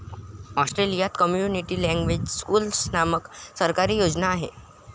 ऑस्ट्रेलियात community language schools नामक सरकारी योजना आहे.